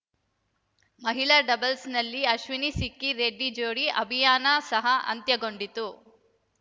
ಮಹಿಳಾ ಡಬಲ್ಸ್‌ನಲ್ಲಿ ಅಶ್ವಿನಿಸಿಕ್ಕಿ ರೆಡ್ಡಿ ಜೋಡಿ ಅಭಿಯಾನ ಸಹ ಅಂತ್ಯಗೊಂಡಿತು